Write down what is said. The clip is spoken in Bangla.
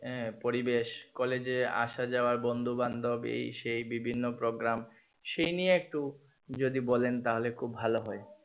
আহ পরিবেশ কলেজে আসাযাওয়া বন্ধু বান্ধবী এই সেই বিভিন্ন program সেই নিয়ে একটু যদি বলেন তাহলে খুব ভালো হয়।